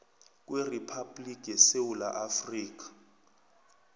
kweriphabhligi yesewula afrika